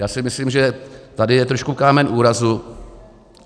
Já si myslím, že tady je trošku kámen úrazu.